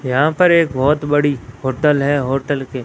यहां पर एक बहुत बड़ी होटल है होटल के--